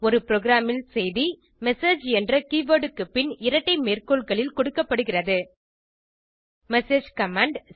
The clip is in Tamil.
ஒரு ப்ரோகிராமில் செய்தி மெசேஜ் என்ற கீவர்ட் க்கு பின் இரட்டை மேற்கோள்களில் கொடுக்கப்படுகிறது மெசேஜ் கமாண்ட்